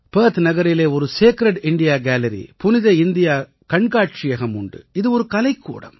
Perth நகரிலே ஒரு sacred India gallery புனித இந்தியா கண்காட்சியகம் உண்டு இது ஒரு கலைக்கூடம்